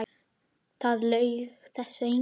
Það laug þessu enginn.